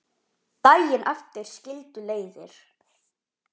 Daginn eftir skildu leiðir.